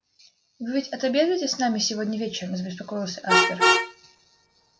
вы ведь отобедаете с нами сегодня вечером забеспокоился аспер